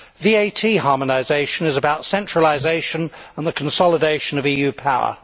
VAT harmonisation is about centralisation and the consolidation of EU power.